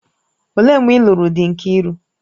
Olee mgbe ị́luru dị Nkiru?